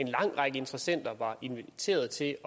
en lang række interessenter var inviteret til